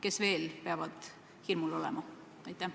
Kes veel peavad hirmul olema?